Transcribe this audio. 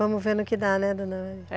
Vamos ver no que dá, né, dona?